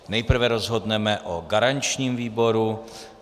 Nejprve rozhodneme o garančním výboru.